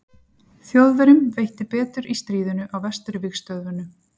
Þjóðverjum veitti betur í stríðinu á Vesturvígstöðvunum.